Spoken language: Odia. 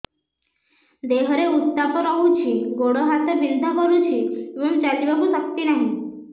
ଦେହରେ ଉତାପ ରହୁଛି ଗୋଡ଼ ହାତ ବିନ୍ଧା କରୁଛି ଏବଂ ଚାଲିବାକୁ ଶକ୍ତି ନାହିଁ